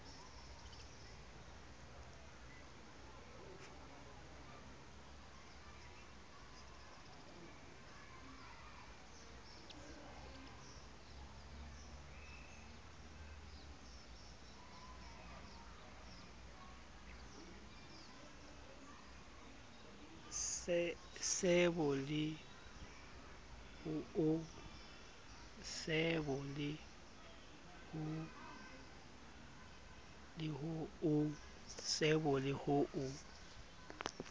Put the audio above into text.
se bo le ho o